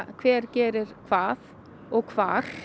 hver gerir hvað og hvar